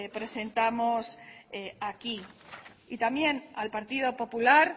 presentamos aquí y también al partido popular